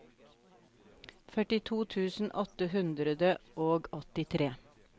førtito tusen åtte hundre og åttitre